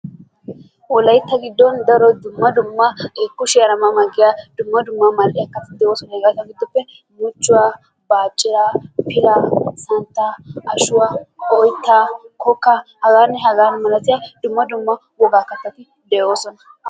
Wolaytta giddon daro dumma dumma kushiiyara ma ma giya dumma dumma mal'iya kattati doosona. Hegaa gidoppe muchchuwa, bacciraa, pilaa, santtaa, ashuwa, oyittaa, kokka hagaanne hagaa malatiya dumma dumma wogaa kattati de'oosona.